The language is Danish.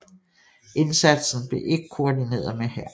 Indsatsen blev ikke koordineret med hæren